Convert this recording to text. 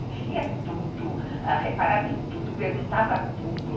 Ele via tudo, reparava em tudo, perguntava tudo.